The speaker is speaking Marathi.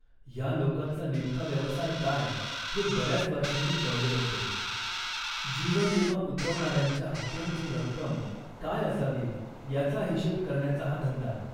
या लोकांचा नेमका व्यवसाय काय हे बऱ्याच वर्षांनी कळले होते. जीवनविमा उतरवणाऱ्यांच्या हप्त्यांची रक्कम काय असावी याचा हिशेब करण्याचा हा धंदा